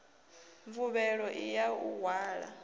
mvuvhelo i ya u hwala